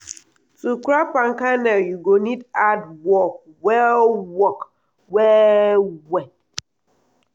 to crack palm kernel u go need hard work well work well well.